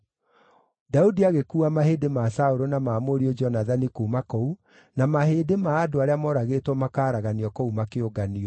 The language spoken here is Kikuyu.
Daudi agĩkuua mahĩndĩ ma Saũlũ na ma mũriũ Jonathani kuuma kũu, na mahĩndĩ ma andũ arĩa moragĩtwo makaaraganio kũu makĩũnganio.